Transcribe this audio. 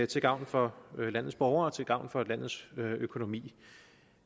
til gavn for landets borgere og til gavn for landets økonomi